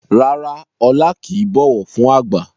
Rárá Ọlá kìí bọ̀wọ̀ fún àgbà